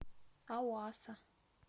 ауаса